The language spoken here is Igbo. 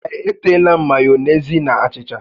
Ee, e teela m mayonezi na achịcha